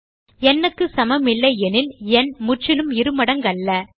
n க்கு சமமில்லையெனில் எண் முற்றிலும் இருமடங்கல்ல